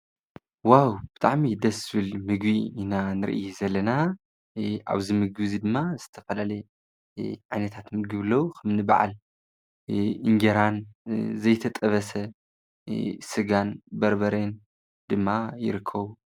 ዋው ብጥዕሚ ደስብል ምግ ኢና ንርኢ ዘለና ኣብዝ ምግዝ ድማ ዝተፈላለ ዓይነታት ምግብ ኣለው። በዓል እንጀራ ዘይተጠበሰ ሥጋን በርበሬን ድማ ይርከቡ።